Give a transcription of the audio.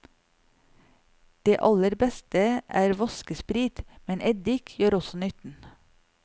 Det aller beste er vaskesprit, men eddik gjør også nytten.